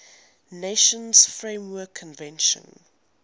nations framework convention